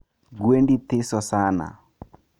Gwendi thiso sana